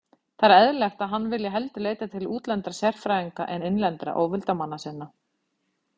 Það er eðlilegt, að hann vilji heldur leita til útlendra sérfræðinga en innlendra óvildarmanna sinna.